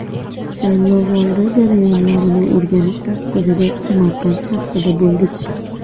Saylovoldi jarayonlarini o‘rganish maqsadida Samarqand shahrida bo‘ldik.